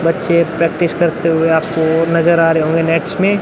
बच्चे प्रैक्टिस करते हुए आपको नज़र आ रहे होंगे नेक्स्ट मे --